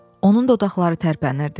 Onun dodaqları tərpənirdi.